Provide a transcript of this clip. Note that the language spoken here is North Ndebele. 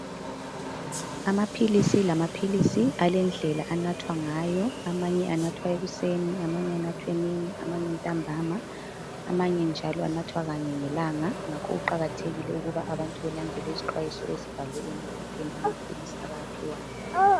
Amaphilisi lamaphilisi alendlela anathwa ngayo. Amanye anathwa ekuseni. Amanye anathwe emini. Amanye ntambama. Amanye njalo anathwa kanye ngelanga. Ngakho kuqakathekile ukuba abantu balandele izixwayiso ezibhalwe emaphepheni amaphilisi abawaphiwayo.